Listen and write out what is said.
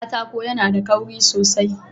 Katako yAna da kauri sosai